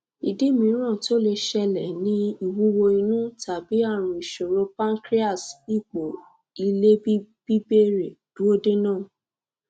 idi miiran to le ṣẹlẹ ni ìwúwo inu tabi àrùn isoro pancreas ipo ilebibere duodenum